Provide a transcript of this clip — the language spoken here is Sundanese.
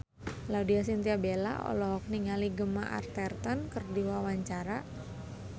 Laudya Chintya Bella olohok ningali Gemma Arterton keur diwawancara